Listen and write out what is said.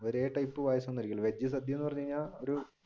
veg sadya എന്ന് പറഞ്ഞു കഴിഞ്ഞാൽ ഒരു